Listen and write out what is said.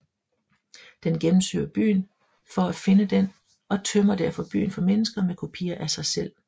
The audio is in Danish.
Den gennemsøger byen for at finde den og tømmer derfor byen for mennesker med kopier af sig selv